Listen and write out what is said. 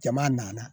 Jama nana